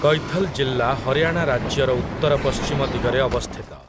କୈଥଲ ଜିଲ୍ଲା ହରିୟାଣା ରାଜ୍ୟର ଉତ୍ତରପଶ୍ଚିମ ଦିଗରେ ଅବସ୍ଥିତ ।